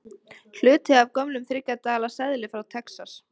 Hluti af gömlum þriggja dala seðli frá Texas.